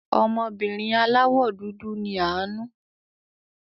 Ọmọbìnrin aláwò dúdú ni Àánú.